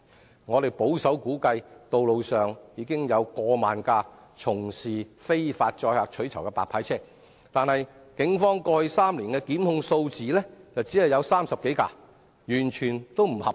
據我們保守估計，道路上目前有超過1萬輛從事非法載客取酬的白牌車，但警方過去3年只對30多輛白牌車作出檢控，與現況完全不成正比。